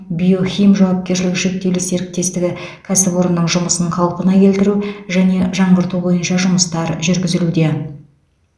биохим жауапкершілігі шектеулі серіктестігі кәсіпорнының жұмысын қалпына келтріу және жаңғырту бойынша жұмыстар жүргізілуде